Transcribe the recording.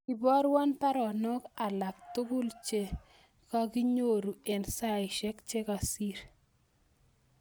Iborwon baronok alaktugul chegaginyoru en saisyek chegasir